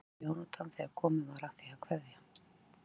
spurði Jónatan þegar komið var að því að kveðja.